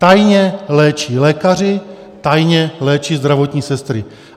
Tajně léčí lékaři, tajně léčí zdravotní sestry.